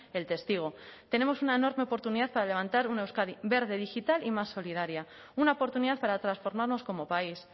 el testigo tenemos una enorme oportunidad para levantar una euskadi verde digital y más solidaria una oportunidad para transformarnos como país